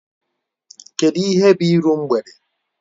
Kedu ihe bụ iru mgbede?